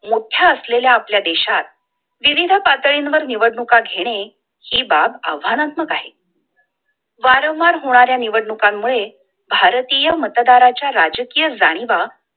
मोठ्या असलेल्या आपल्या देशात विविध पातळींवर निवडणुका घेणे हि बाब आव्हानात्मक आहे वारंवार होणाऱ्या निवडणुकां मूळे भारतीय मतदाराच्या राजकीय जाणीवा